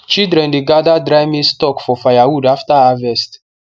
children dey gather dry maize stalk for firewood after harvest